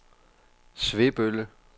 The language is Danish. Svebølle